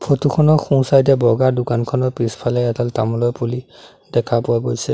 Photo খনৰ সোঁ side এ বগা দোকানখনৰ পিছফালে এডাল তামোলৰ পুলি দেখা পোৱা গৈছে।